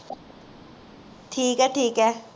ਠੀਕ ਹੈ ਠੀਕ ਹੈ